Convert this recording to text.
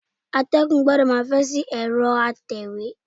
Atẹ́gùn gbọdọ̀ máa fẹ́ sí ẹ̀rọ atẹ̀wé.